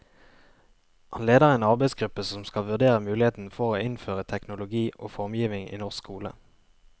Han leder en arbeidsgruppe som skal vurdere muligheten for å innføre teknologi og formgivning i norsk skole.